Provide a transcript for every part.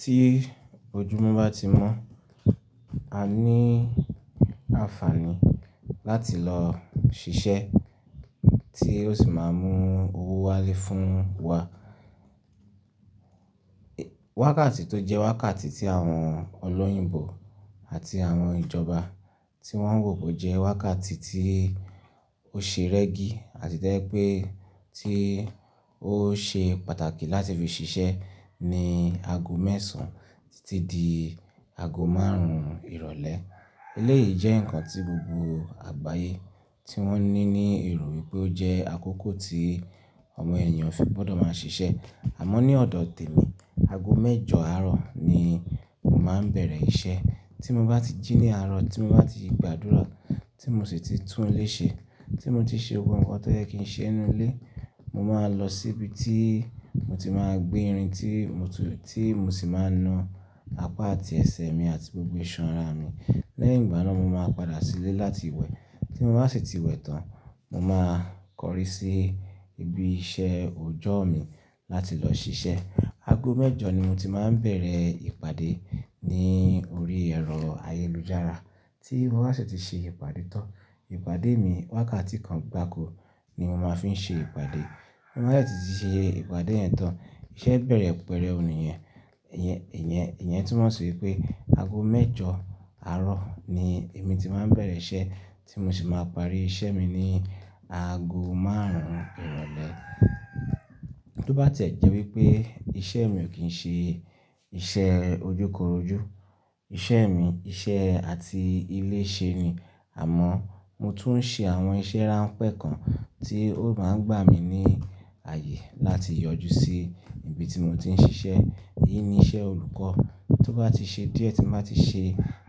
Tí ojúmọ́ bá ti mọ́, a ní àǹfààní láti lọ ṣiṣẹ́ tí ó sì máa mú owó wálé fún wa. Wákàtí tó jẹ́ wákàtí tí àwọn olóyìnbo àti àwọn ìjọba tí wọ́n wò pé ó jẹ́ wákàtí tí ó ṣe rẹ́gí àti tẹ́ pé tí ó ṣe pàtàkì láti fi ṣiṣẹ́ ni ago mẹ́sàn títí di ago márùn-ún ìrọ̀lẹ́. Eléyìí jẹ́ nǹkan tí gbogbo àgbáyé tí wọ́n ní ní erò pé ó jẹ́ àkókò tí ọmọ ènìyàn fi gbọdọ̀ máa ṣiṣẹ́. Àmọ́ ní ọ̀dọ̀ tèmi, ago mẹ́jọ àárọ̀ ni mo máa ń bẹ̀rẹ̀ iṣẹ́. Tí mo bá ti jí ní àárọ̀, tí mo bá ti gbàdúrà tí mo sì ti túnléṣe, tí mo ti ṣe ohun kan tó yẹ kí n ṣe nínú ilé, mo máa lọ síbi tí mo ti máa gbé irin tí mo sì máa na apá àti ẹsẹ̀ mi àti gbogbo iṣan ara mi. Lẹ́yìn ìgbà náà, mo máa padà sílé láti wẹ̀. Tí mo bá sì ti wẹ̀ tán, mo máa kọrí sí ibi iṣẹ́ òjọ́ mi láti lọ ṣiṣẹ́. Ago mẹ́jọ ni mo ti máa ń bẹ̀rẹ̀ ìpàdé ní orí ẹ̀rọ ayélujára. Tí mo bá sì ti ṣe ìpàdé tán, ìpàdé mi wákàtí kan gbaako ni mo máa fi ń ṣe ìpàdé. Tí mo bá sì ti ṣe ìpàdé yẹn tán, iṣẹ́ bẹ̀rẹ̀ pẹrẹ́u níyẹn, niyen. Ìyẹn tún mọ̀ sí pé ago mẹ́jọ àárọ̀ ni èmi ti máa ń bẹ̀rẹ̀ iṣẹ́ tí mo sì máa parí iṣẹ́ mi ní ago márùn-ún ìrọ̀lẹ́. Tó bá ti ẹ̀ jẹ́ wípé iṣẹ́ mi ò kí ń ṣe iṣẹ́ ojúkorojú, iṣẹ́ mi iṣẹ́ àti ilé ṣe ni. Àmọ́ mo tún ń ṣe àwọn iṣẹ́ ránpẹ́ kan tí ó máa ń gbà mí ní ààyè láti yọjú sí ibi tí mo ti ń ṣiṣẹ́. Èyí ni iṣẹ́ olùkọ́. Tó bá ti ṣe díẹ̀, tí mo bá ti ṣe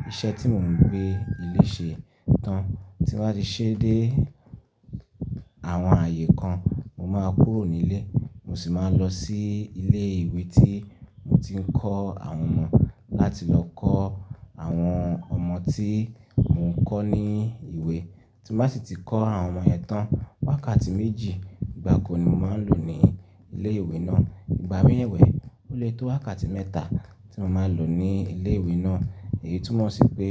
iṣẹ́ tí mò ń gbé ilé ṣe tán, tí mo bá ti ṣe dé àwọn ààyè kan, mo máa kúrò nílé. Mo sì máa lọ sí ilé ìwé tí mo ti ń kọ́ àwọn ọmọ láti lọ kọ́ àwọn ọmọ tí mò ń kọ́ ní ìwé. Tí mo bá sì ti kọ́ àwọn ọmọ yẹn tán, wákàtí méjì gbaako ni mo máa n lò ní ilé ìwé náà. Ìgbà mii ẹ́wẹ̀ẹ́, ó lè tó wákàtí mẹ́ta tí mo máa lò ní ilé ìwé náà. Èyí tún mọ̀ sí pé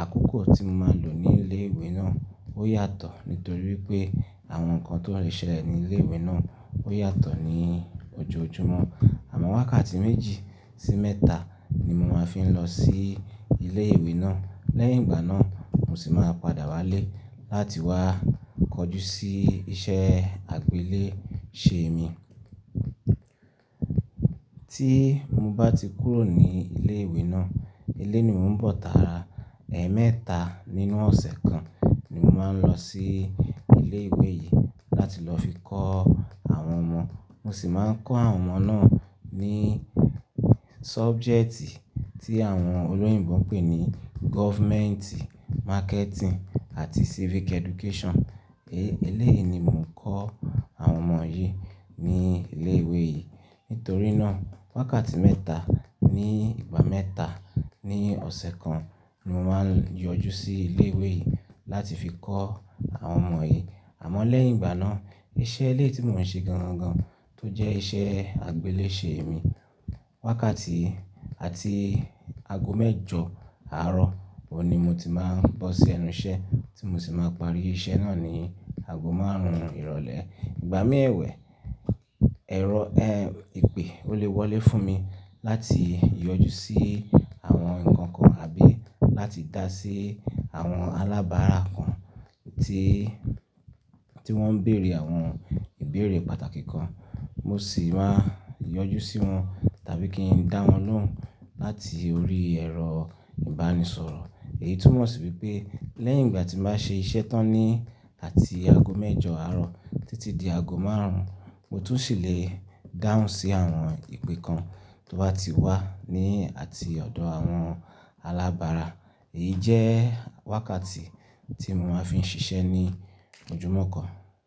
àkókò tí mo máa lò ní ilé ìwé náà ó yàtọ̀ nítorí pé àwọn nǹkan ti won le ṣẹlẹ̀ ní ilé ìwé náà ó yàtọ̀ ní ojoojúmọ́. Àmọ́ wákàtí méjì sí mẹ́ta ni mo máa fi ń lọ sí ilé ìwé náà. Lẹ́yìn ìgbà náà, mo sì máa padà wálé láti wá kọjú sí iṣẹ́ àgbéléṣe mi. Tí mo bá ti kúrò ní ilé ìwé náà, ilé ni mò ń bọ̀ tàára. Ẹ̀ẹ̀mẹ́ta nínú ọ̀sẹ̀ kan ni mo máa ń lọ sí ilé ìwé yìí láti lọ fi kọ́ àwọn ọmọ. Mo sì máa ń kọ́ àwọn ọmọ náà ní subject tí àwọn olóyìnbo ń pè ní government, marketing àti civic education. E, eléyìí ni mò ń kọ́ àwọn ọmọ yìí ní ilé ìwé yìí. Nítorí náà, wákàtí mẹ́ta ní ìgbà mẹ́ta ní ọ̀sẹ̀ kan ni mo máa ń yọjú sí ilé ìwé yìí láti fi kọ́ àwọn ọmọ yìí. Àmọ́ lẹ́yìn ìgbà náà, iṣẹ́ ẹlẹ́ ti mò ń ṣe gan-an-an tó jẹ́ iṣẹ́ àgbéléṣe mi, wákàtí àti ago mẹ́jọ àárọ̀ oun ni mo ti máa ń bọ́ sí ẹnu iṣẹ́ tí mo sì máa parí iṣẹ́ náà ní ago márùn-ún ìrọ̀lẹ́. Ìgbà mii ewẹ̀ẹ́, ẹ̀rọ, ẹ́, ìpè ó lè wọlé fún mi láti yọjú sí àwọn nǹkan kan àbí láti dá sí àwọn alábára kan tí, tí wọ́n ń bèrè àwọn ìbéèrè pàtàkì kan. Mo sì máa ń yọjú sí wọn tàbí kí n dá wọn lóhùn láti orí ẹ̀rọ ìbánisọ̀rọ̀. Èyí tún mọ̀ sí wípé lẹ́yìn ìgbà tí mo bá ṣe iṣẹ́ tán ní àti ago mẹ́jọ àárọ̀ títí di ago márùn-ún, mo tún sì lè dáhùn sí àwọn ìpè kan tó bá ti wà ní àti ọ̀dọ̀ àwọn alábára. Èyí jẹ́ wákàtí tí mo máa fi ń ṣiṣẹ́ ní ojoojúmọ́ kan.